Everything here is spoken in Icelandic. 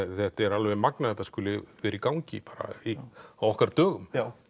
þetta er alveg magnað að þetta skuli vera í gangi á okkar dögum